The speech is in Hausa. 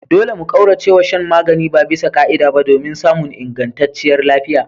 Dole mu kauracewa shan magani babisa ka'ida ba domin samun ingantacciyar lafiya.